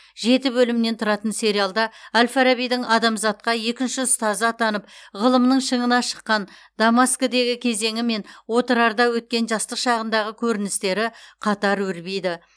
жеті бөлімнен тұратын сериалда әл фарабидің адамзатқа екінші ұстаз атанып ғылымның шыңына шыққан дамаскідегі кезеңі мен отырарда өткен жастық шағындағы көріністері қатар өрбиді